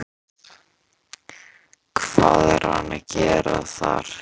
Hvað er hann að gera þar?